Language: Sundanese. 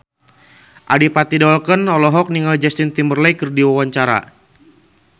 Adipati Dolken olohok ningali Justin Timberlake keur diwawancara